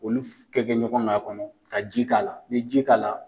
Olu kɛ kɛ ɲɔgɔn kan fɛnɛ ka ji k'a la, ni ye ji k'a la